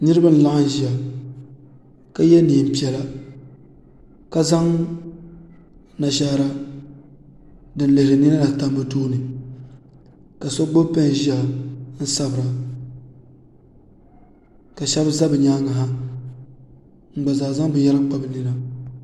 Niribi n laɣim ʒiya ka ye neepiɛla ka zan mashaara dinlihiri nina n tam bɛ tooni ka so gbubi pɛn n ziya sabira ka shɛbi ʒɛ bɛ nyaanŋa n gba zaa zan binyɛra kpa bi nina